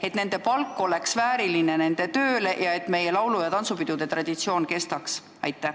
Kas nende palk peaks vastama nende tööle, et meie laulu- ja tantsupidude traditsioon kestaks?